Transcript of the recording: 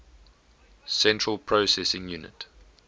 central processing unit